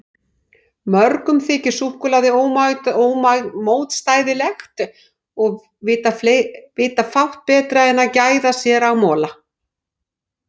Mörgum þykir súkkulaði ómótstæðilegt og vita fátt betra en gæða sér á mola.